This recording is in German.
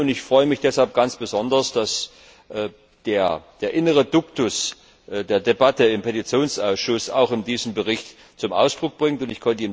Ich freue mich deshalb ganz besonders, dass der innere Duktus der Debatte im Petitionsausschuss auch in diesem Bericht zum Ausdruck kommt.